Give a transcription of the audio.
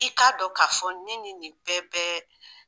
I k'a dɔn k'a fɔ ne nin bɛɛ bɛ